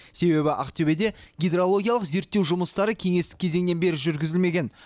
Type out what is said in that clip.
себебі ақтөбеде гидрологиялық зерттеу жұмыстары кеңестік кезеңнен бері жүргізілмеген